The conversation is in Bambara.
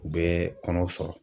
U bɛ kɔnɔ sɔrɔ